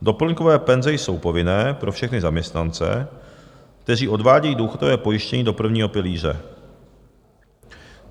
Doplňkové penze jsou povinné pro všechny zaměstnance, kteří odvádějí důchodové pojištění do prvního pilíře.